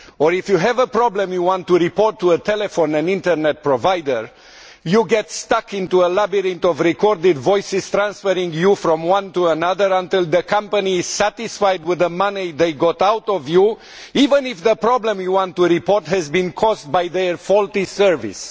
If you have a problem you want to report to a telephone and internet provider, you get stuck in a labyrinth of recorded voices transferring you from one to another until the company is satisfied with the money they have got out of you, even if the problem you want to report has been caused by their faulty service.